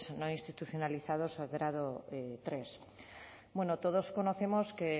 no institucionalizados y grado tercero bueno todos conocemos que